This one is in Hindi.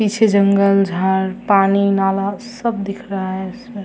पीछे जंगल झाड़ पानी नाला सब दिख रहा है इसमें।